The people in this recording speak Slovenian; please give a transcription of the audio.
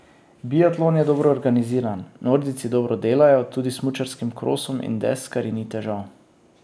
Biatlon je dobro organiziran, nordijci dobro delajo, tudi s smučarskim krosom in deskarji ni težav.